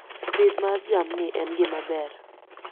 Pith mar jamni en gima ber